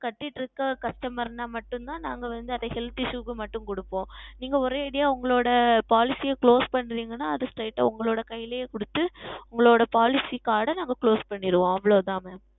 செலுத்தி கொண்டு இருக்க செலுத்த மறந்தால் மட்டும் தான் நாங்கள் அதை Health Issue க்கு மட்டும் கொடுப்போம் நீங்கள் ஒரே அடியாக உங்களுடைய Policy யை Close செய்கிறீர்கள் என்றால் அது Straight ஆ உங்களுடைய கையிலே கொடுத்து உங்களுடைய Policy Card ஆ நாங்கள் Close செய்திடுவோம் அவ்வளவு தான் Mam